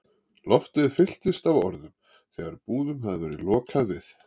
Loftið fylltist af orðum, þegar búðum hafði verið lokað við